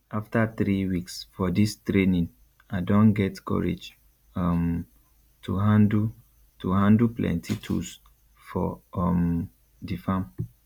after three weeks for dis training i don get courage um to handle to handle plenty tools for um di farm